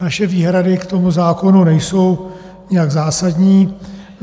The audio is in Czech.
Naše výhrady k tomu zákonu nejsou nijak zásadní.